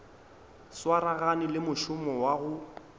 swaragane le mošomo wa go